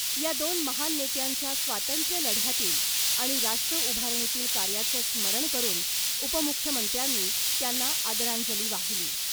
या दोन महान नेत्यांच्या स्वातंत्र्यलढ्यातील आणि राष्ट्रउभारणीतील कार्याचं स्मरण करून उपमुख्यमंत्र्यांनी त्यांना आदरांजली वाहिली .